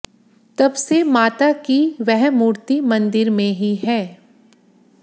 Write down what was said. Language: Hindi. तब से माता की वह मूर्ति मंदिर में ही है